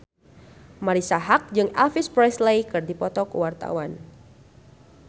Marisa Haque jeung Elvis Presley keur dipoto ku wartawan